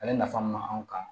Ale nafa mun b'a anw kan